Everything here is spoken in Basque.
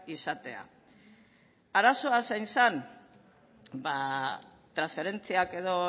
izatea arazoa zein zen ba transferentziak edo